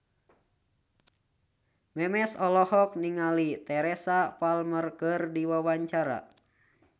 Memes olohok ningali Teresa Palmer keur diwawancara